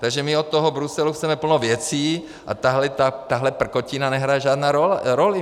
Takže my od toho Bruselu chceme plno věcí a tahle prkotina nehraje žádnou roli.